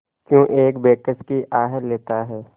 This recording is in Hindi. क्यों एक बेकस की आह लेता है